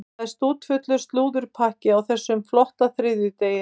Það er stútfullur slúðurpakki á þessum flotta þriðjudegi.